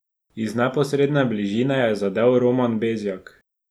Iz neposredne bližine je zadel Roman Bezjak.